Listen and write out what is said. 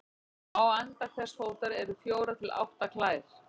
Á enda hvers fótar eru fjórar til átta klær.